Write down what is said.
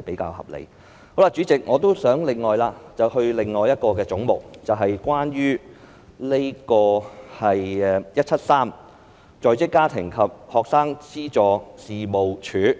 代理主席，我亦想談論另一個總目，即是"總目 173― 在職家庭及學生資助事務處